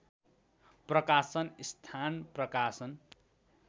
प्रकाशन स्थान प्रकाशन